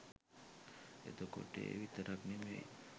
එතකොට ඒ විතරක් නෙමෙයි